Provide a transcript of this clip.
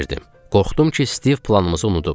Qorxdum ki, Stiv planımızı unudub.